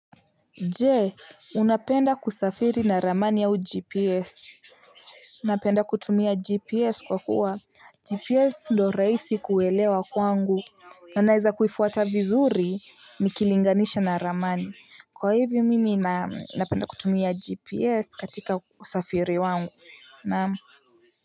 Je unapenda kusafiri na ramani au gps napenda kutumia gps kwa kuwa gps ndo raisi kuelewa kwangu na naweza kuifuata vizuri nikilinganisha na ramani kwa hivyo mimi napenda kutumia gps katika usafiri wangu naam.